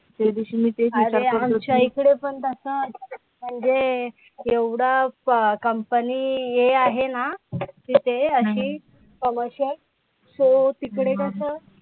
अरे आमच्या इकडे पण तसं म्हणजे एवढं company हे आहे ना, की तिथे अशी ommercial, तू तिकडे कसं